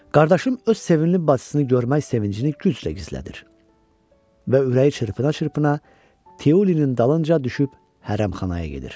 Qardaşım öz sevimli bacısını görmək sevincini güclə gizlədir və ürəyi çırpına-çırpına Teulinin dalınca düşüb hərəm-xanaya gedir.